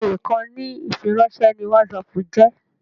Bẹ́ẹ̀ni ìkànnì ìfiránṣẹ́ ni whatsapp jẹ́